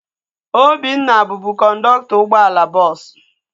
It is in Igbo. Obinna bubu kọndọktọ ụgbọala bọọsu